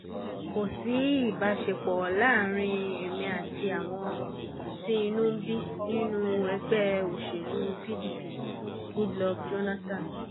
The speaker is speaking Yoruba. kò sí ìbáṣepọ̀ láàárín èmi àti àwọn tí inú bíi nínú ẹgbẹ́ òṣèlú pdp goodluck jonathan